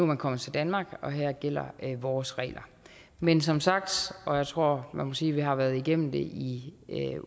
man kommet til danmark og her gælder vores regler men som sagt og jeg tror man må sige at vi har været igennem det i